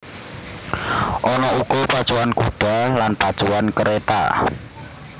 Ana uga pacuan kuda lan pacuan kereta